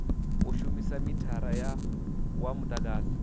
u shumisa mithara wa mudagasi